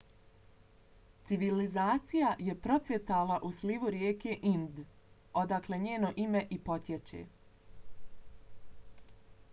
civilizacija je procvjetala u slivu rijeke ind odakle njeno ime i potječe